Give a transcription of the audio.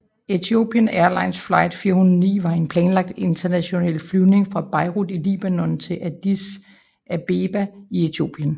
Ethiopian Airlines Flight 409 var en planlagt international flyvning fra Beirut i Libanon til Addis Abeba i Etiopien